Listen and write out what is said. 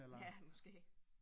Ja måske